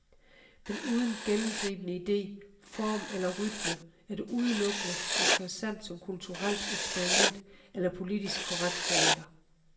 Men uden gennemgribende idé, form eller rytme er det udelukkende interessant som kulturelt eksperiment eller politisk korrekt teater.